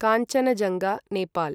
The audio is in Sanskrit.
काञ्चनजङ्गा नेपाल्